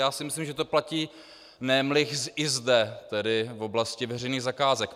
Já si myslím, že to platí nemlich i zde, tedy v oblasti veřejných zakázek.